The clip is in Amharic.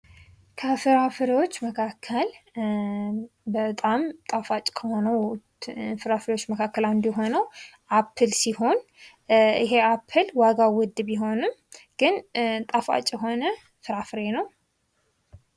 ከፍሬዎች መካከል በጣም ጣፋጭ ከሆኑት ፍራፍሬዎች መካከል አንዱ አፕል ሲሆን፤ ይህ የአፕል ዋጋው ውድ ቢሆንም፤ ግን ጣፋጭ የሆነ ፍራፍሬ ነው።